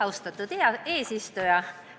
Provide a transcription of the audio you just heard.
Austatud eesistuja!